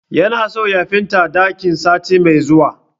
Ya na so ya fenta dakin sati mai zuwa